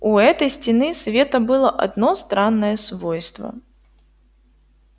у этой стены света было одно странное свойство